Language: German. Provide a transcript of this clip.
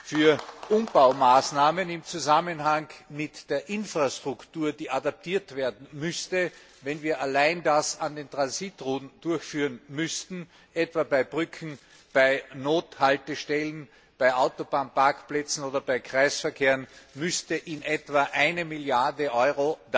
Für Umbaumaßnahmen im Zusammenhang mit der Infrastruktur, die adaptiert werden müsste, wenn wir das allein an den Transitrouten durchführen müssten, etwa bei Brücken, bei Nothaltestellen, bei Autobahnparkplätzen oder bei Kreisverkehren, müsste in etwa eine Milliarde EUR